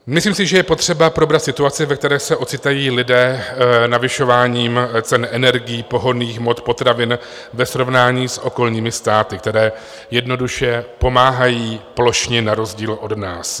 Myslím si, že je potřeba probrat situaci, ve které se ocitají lidé navyšováním cen energií, pohonných hmot, potravin ve srovnání s okolními státy, které jednoduše pomáhají plošně na rozdíl od nás.